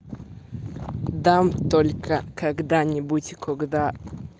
дам только когда-нибудь когда